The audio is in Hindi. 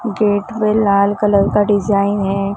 गेट में लाल कलर का डिजाइन है।